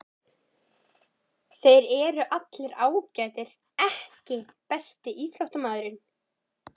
Þeir eru allir ágætir EKKI besti íþróttafréttamaðurinn?